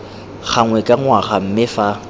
gangwe ka ngwaga mme fa